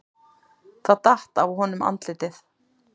Það datt af honum andlitið.